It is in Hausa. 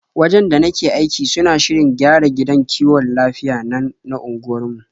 Wajen da nake aiki suna shirin gyara gidan kiwon lafiyar nan na unguwarmu.